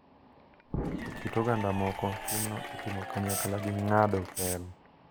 E kit oganda moko, timno itimo kanyakla gi ng’ado pel.